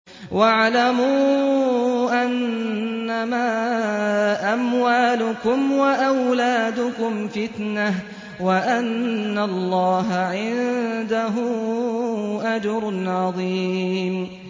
وَاعْلَمُوا أَنَّمَا أَمْوَالُكُمْ وَأَوْلَادُكُمْ فِتْنَةٌ وَأَنَّ اللَّهَ عِندَهُ أَجْرٌ عَظِيمٌ